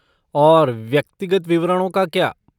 और व्यक्तिगत विवरणों का क्या?